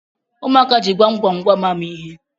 ụmụaka ji gwamgwamgwam amụ ihe